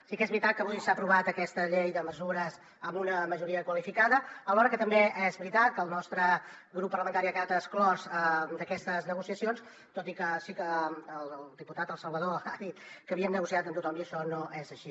sí que és veritat que avui s’ha aprovat aquesta llei de mesures amb una majoria qualificada alhora que també és veritat que el nostre grup parlamentari ha quedat exclòs d’aquestes negociacions tot i que sí que el diputat el salvador ha dit que havien negociat amb tothom i això no és així